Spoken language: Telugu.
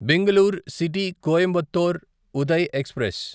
Bengaluru city Coimbatore Uday express